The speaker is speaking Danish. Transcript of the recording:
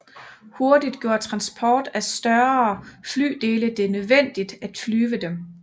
Hurtigt gjorde transport af større flydele det nødvendigt at flyve dem